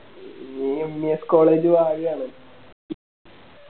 നിയെല്ലാം College വാര് ആ അല്ലെ